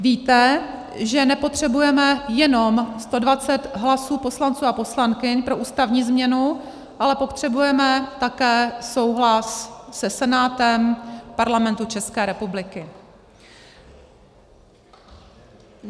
Víte, že nepotřebujeme jenom 120 hlasů poslanců a poslankyň pro ústavní změnu, ale potřebujeme také souhlas se Senátem Parlamentu České republiky.